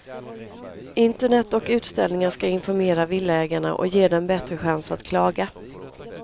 Internet och utställningar ska informera villaägarna och ge dem bättre chans att klaga.